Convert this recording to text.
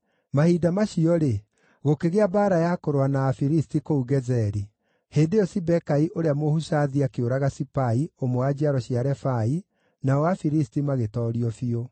Mahinda macio-rĩ, gũkĩgĩa mbaara ya kũrũa na Afilisti kũu Gezeri. Hĩndĩ ĩyo Sibekai ũrĩa Mũhushathi akĩũraga Sipai, ũmwe wa njiaro cia Refai, nao Afilisti magĩtoorio biũ.